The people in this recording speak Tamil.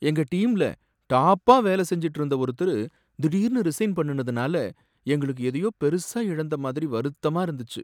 எங்க டீம்ல டாப்பா வேலை செஞ்சுட்டு இருந்த ஒருத்தரு திடீர்னு ரிசைன் பண்ணுனதுனால எங்களுக்கு எதையோ பெருசா இழந்த மாதிரி வருத்தமா இருந்துச்சு.